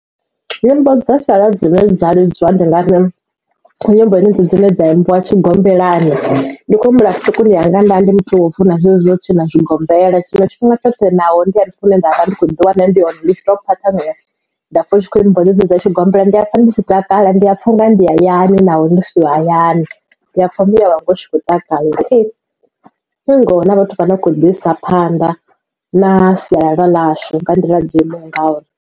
Nyimbo dza sialala dzine dza lidziwa ndi nga ri ndi nyimbo dzenedzi dzine dza imbiwa tshigombelani ndi khou humbula vhuṱukuni hanga nda ndi muthu wa u funa zwezwi zwo tshina zwigombela tshiṅwe tshifhinga tshoṱhe ndi hune ndavha ndi kho ḓi wana ndi hone ndapfa hu tshi kho imbiwa nyimbo dza tshigombela ndiya pfa ndi tshi takala ndiya pfa unga ndi hayani naho ndi siho hayani ndiya pfa ndi tshi kho takalela ngoho na vhathu vha no kho ḓi isa phanḓa na sialala ḽashu vha ndi ḽa dzo imaho ngauri.